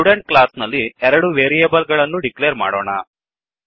student class ನಲ್ಲಿ ಎರಡು variable ಗಳನ್ನು ಡಿಕ್ಲೇರ್ ಮಾಡೋಣ